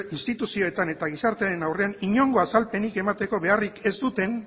instituzioetan eta gizartearen aurrean inongo azalpenik emateko beharrik ez zuten